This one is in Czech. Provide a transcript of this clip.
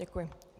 Děkuji.